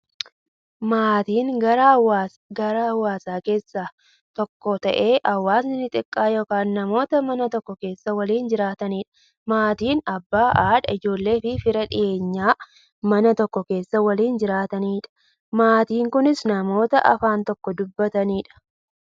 Maatiin garaa hawaasaa keessaa tokko ta'ee, hawaasa xiqqaa yookin namoota Mana tokko keessaa waliin jiraataniidha. Maatiin Abbaa, haadha, ijoolleefi fira dhiyeenyaa, Mana tokko keessaa waliin jiraataniidha. Maatiin kunnis, namoota afaan tokko dubbataniidha.